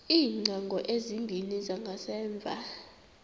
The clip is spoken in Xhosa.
iingcango ezimbini zangasemva